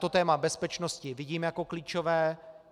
To téma bezpečnosti vidím jako klíčové.